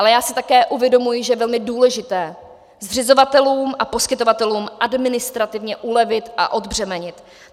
Ale já si také uvědomuji, že je velmi důležité zřizovatelům a poskytovatelům administrativně ulevit a odbřemenit.